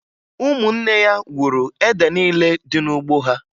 Ụmụnne ya wuru ede niile dị n'ugbo ha